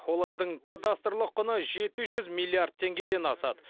олардың кадастрлық құны жеті жүз миллиард теңгеден асады